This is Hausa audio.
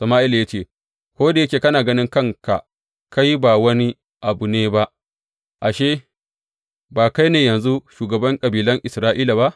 Sama’ila ya ce, Ko da yake kana ganin kanka kai ba wani abu ne ba, ashe, ba kai ne yanzu shugaban kabilan Isra’ila ba?